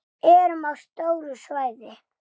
Við erum á stóru svæði.